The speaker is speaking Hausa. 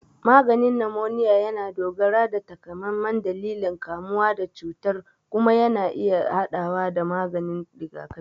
Maganin numoniya yana dogara da takamaiman dalilin kamuwa da cutar kuma yana iya haɗawa da maganin rigakafi.